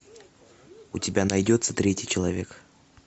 у тебя найдется третий человек